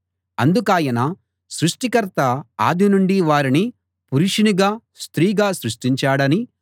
అందుకాయన సృష్టికర్త ఆది నుండి వారిని పురుషునిగా స్త్రీగా సృష్టించాడనీ